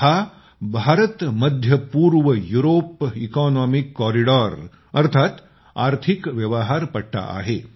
हा भारतमध्य पूर्वयुरोप इकॉनॉमिक कॉरिडॉर अर्थात आर्थिक व्यवहार पट्टा आहे